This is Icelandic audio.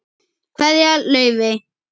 Kveðja, Laufey.